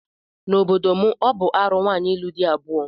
N'obodo m, ọ bụ arụ nwaanyị ịlụ di abụọ.